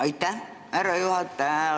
Aitäh, härra juhataja!